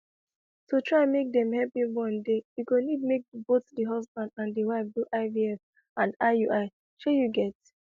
to try make them help you born dey e go need make both the husband and the wife do ivf and iui shey you get